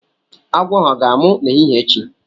Agwọ ahu ọ ga-anwụ la n'ehihie echi?